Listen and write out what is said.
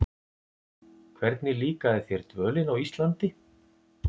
Hvernig líkaði þér dvölin á Íslandi?